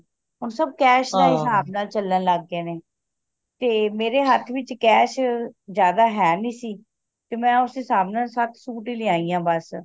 ਹੁਣ ਸਭ cash ਦੇ ਹਿਸਾਬ ਨਾਲ ਚਲਣ ਲੱਗ ਗਏ ਨੇ ਤੇ ਮੇਰੇ ਹੱਥ ਵਿਚ cash ਜ਼ਿਆਦਾ ਹੈ ਨਹੀਂ ਸੀ ਤੇ ਮੈਂ ਉਸੇ ਹਿਸਾਬ ਨਾਲ ਸੱਤ ਸੁਤ ਹੀ ਲਿਯਾਯੀ ਆਂ ਬੱਸ